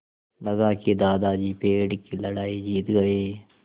लगा कि दादाजी पेड़ की लड़ाई जीत गए